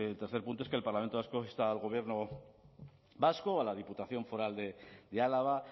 tercer punto es que el parlamento vasco insta al gobierno vasco a la diputación foral de álava